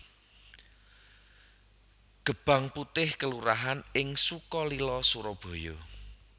Gebang Putih kelurahan ing Sukalila Surabaya